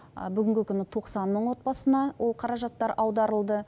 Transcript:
бүгінгі күні тоқсан мың отбасына ол қаражаттар аударылды